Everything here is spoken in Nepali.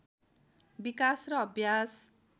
विकास र अभ्यास